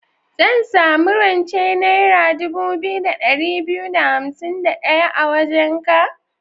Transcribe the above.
Zan sami rance naira dubu biyu da ɗari biyu da hansim da ɗaya a wajenka?